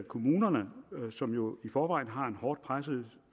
kommunerne som jo i forvejen har en hårdt presset